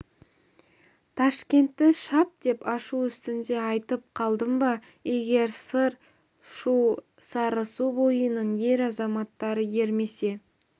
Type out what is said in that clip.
ташкентті шап деп ашу үстінде айтып қалдым ба егер сыр шу сарысу бойының ер азаматтары ермесе